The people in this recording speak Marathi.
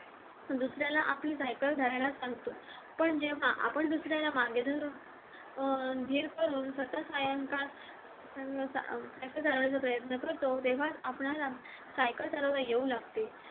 दुसऱ्याला आपली सायकल धरायला सांगतो पण जेव्हा आपण दुसऱ्याला अं सायकल धरायचा प्रयत्न करतो तेव्हा आपल्याला सायकल चालवायला येऊ लागते